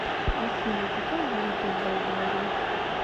афина какая валюта в болгарии